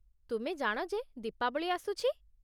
ତୁମେ ଜାଣ ଯେ ଦୀପାବଳି ଆସୁଛି !